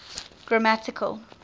grammatical